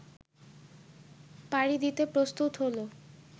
পাড়ি দিতে প্রস্তুত হল